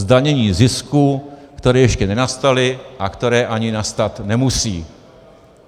Zdanění zisků, které ještě nenastaly a které ani nastat nemusí.